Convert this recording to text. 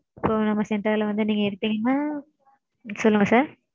இப்போ நம்ம center ல வந்து நீங்க எடுத்தீங்கனா சொல்லுங்க sir.